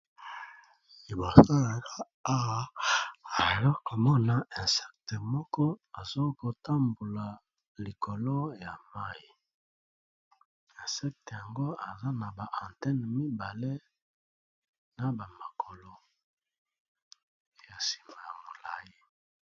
Liboso nanga awa nazali komona insicte moko aza kotambola likolo ya mayi. insecte yango aza na ba antenne mibale na ba makolo ya sima ya molayi.